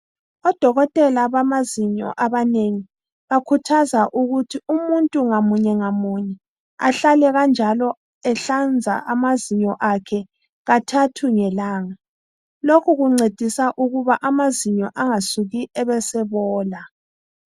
Odokotela bamazinyo abanengi bakhuthaza ukuthi umuntu ngamunye ngamunye ahlale kanjalo ehlanza amazinyo akhe kathathu ngelanga. Lokhu kuncedisa ukuba amazinyo angasuki ebesebola.